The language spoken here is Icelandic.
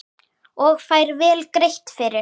Og fær vel greitt fyrir.